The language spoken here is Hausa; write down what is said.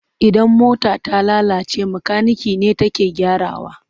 Idan mota ta lalace makanike ne take gyarawa.